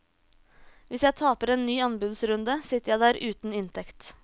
Hvis jeg taper en ny anbudsrunde, sitter jeg der uten inntekt.